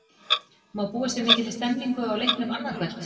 Má búast við mikilli stemningu á leiknum annað kvöld?